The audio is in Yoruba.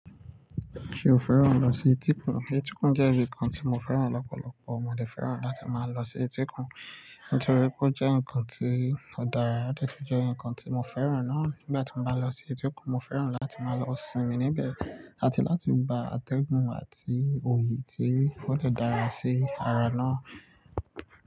Ṣé o fẹ́ràn lọ sí etíkun? Etíkun jẹ́ ibi kan tí mo fẹ́ràn lọ́pọ̀lọpọ̀. Mo dè fẹ́ràn láti máa lọ sí etíkun, nítorí pé ó jẹ́ nǹkan tí ó dára, ó dè fi jẹ́ nǹkan tí mo fẹ́ràn náà. Nígbà tí mo bá lọ sí etíkun, mo fẹ́ràn láti máa lọ sinmi níbẹ̀, àti láti gba atẹ́gùn àti òyì tí ó dè dára sí ara náà.